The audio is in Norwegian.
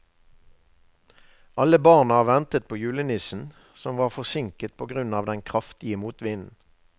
Alle barna ventet på julenissen, som var forsinket på grunn av den kraftige motvinden.